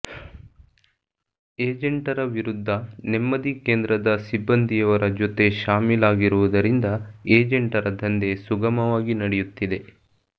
ಏಜೆಂಟರ ವಿರುದ್ಧ ನೆಮ್ಮದಿ ಕೇಂದ್ರದ ಸಿಬ್ಬಂದಿಯವರ ಜೊತೆ ಶಾಮೀಲಾಗಿರುವುದರಿಂದ ಏಜೆಂಟರ ಧಂದೆ ಸುಗಮವಾಗಿ ನಡೆಯುತ್ತಿದೆ